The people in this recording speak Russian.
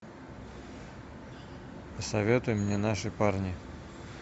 посоветуй мне наши парни